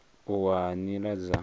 u wa ha nila dza